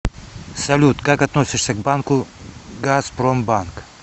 салют как относишься к банку газпромбанк